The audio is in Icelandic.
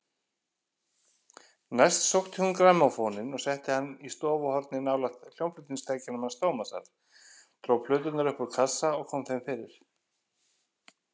Næst sótti hún grammófóninn og setti hann í stofuhornið nálægt hljómflutningstækjunum hans Tómasar, dró plöturnar upp úr kassa og kom þeim fyrir.